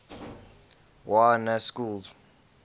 y na schools